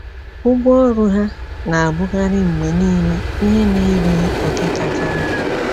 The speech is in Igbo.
Ụgwọ ọrụ ha na-abụkarị mgbe nile ihe na-erughị oke kacha nta.